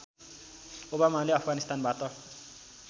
ओबामाले अफगानिस्तानबाट